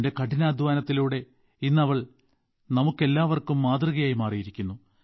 തന്റെ കഠിനാധ്വാനത്തിലൂടെ ഇന്ന് അവൾ നമുക്കെല്ലാവർക്കും മാതൃകയായി മാറിയിരിക്കുന്നു